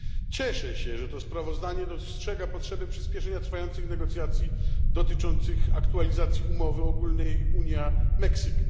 Cieszę się, że to sprawozdanie dostrzega potrzebę przyspieszenia trwających negocjacji dotyczących aktualizacji umowy ogólnej Unia Meksyk.